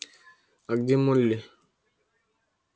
а где молли